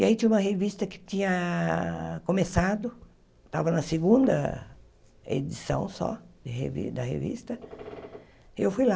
E aí tinha uma revista que tinha começado, estava na segunda edição só de re da revista, e eu fui lá.